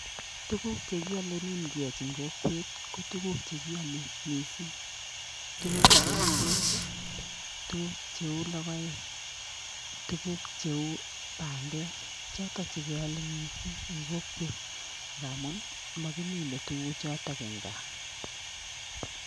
Tuguk chekeale nin keachin kokwet ko tuguk chekiame missing. Tuguk cheu ngwek ii, tuguk cheu logoek, tuguk cheu bandek, chotok chekeale missing eng kokwet ngamun makimine tuguchotok eng gaa.